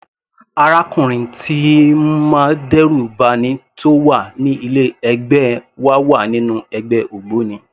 Arákùnrin tíì ń má dẹ́rù ba'ni tó wà ní ilé ẹ̀gbẹ́ wa wà nínú ẹgbẹ́ ògbóni.